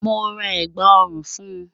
Mo ra ẹ̀gbá ọ̀rùn fún.